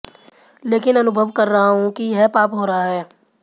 लेकिन अनुभव कर रहा हूं कि यह पाप हो रहा है